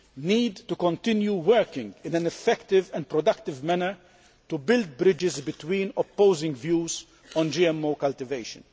need to continue working in an effective and productive manner to build bridges between opposing views on GMO cultivation.